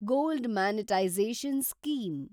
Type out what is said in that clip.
gold monetisation scheme